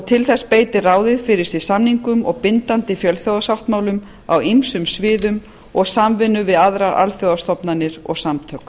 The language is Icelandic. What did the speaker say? til þess beitir ráðið fyrir sig samningum og bindandi fjölþjóðasáttmálum á ýmsum sviðum og samvinnu við aðrar alþjóðastofnanir og samtök